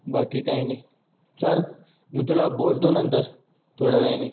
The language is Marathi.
बाकी काय नाय चल मी तुला बोलतो नंतर थोड्या वेळ्याने